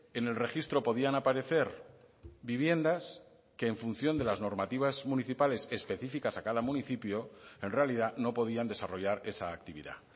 en el registro podían aparecer viviendas que en función de las normativas municipales específicas a cada municipio en realidad no podían desarrollar esa actividad